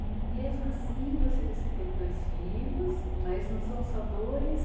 E mesmo assim, você disse que teve dois filhos, mas não são só dois?